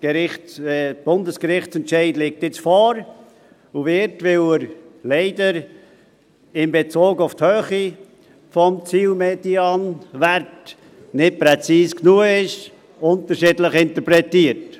Der Bundesgerichtsentscheid zu dieser Beschwerde liegt jetzt vor und wird, weil er leider in Bezug auf die Höhe des Zielmedianwerts nicht präzis genug ist, unterschiedlich interpretiert.